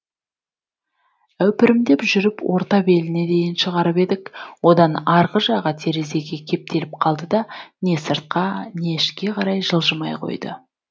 әупірімдеп жүріп орта беліне дейін шығарып едік одан арғы жағы терезеге кептеліп қалды да не сыртқа не ішке қарай жылжымай қойды